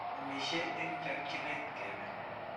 Amishe eng chakchinet kebe.